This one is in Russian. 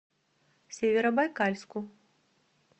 северобайкальску